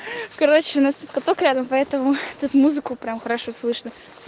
короче у нас тут каток рядом поэтому тут музыку прямо хорошо слышно